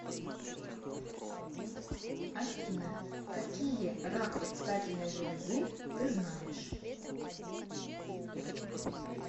афина какие рак предстательной железы ты знаешь